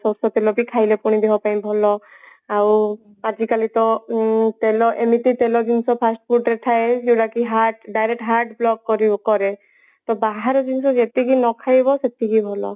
ସୋରିଷ ତେଲ ବି ଖାଇଲେ ଦେହ ପାଇଁ ଭଲ ଆଉ ଆଜିକାଲି ତ ଉଁ ତେଲ ଏମିତି ତେଲ ଜିନିଷ fast food ରେ ଥାଏ ଯୋଉଟା କି heart direct heart block କରି କରେ ତ ବାହାର ଜିନିଷ ଯେତିକି ନଖାଇବ ସେତିକି ଭଲ